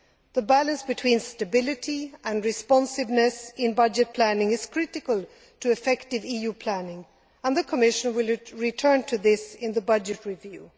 The balance between stability and responsiveness in budget planning is critical to effective EU planning, and the Commission will return to this in the budget review.